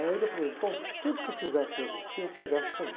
Aí ele falou, então tudo que eu fizer para vestir, você veste também.